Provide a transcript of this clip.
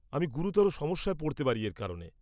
-আমি গুরুতর সমস্যায় পড়তে পারি এর কারণে।